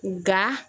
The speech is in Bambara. Nga